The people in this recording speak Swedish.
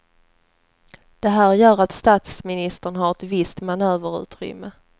Det här gör att statsministern har ett visst manöverutrymme.